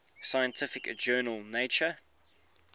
scientific journal nature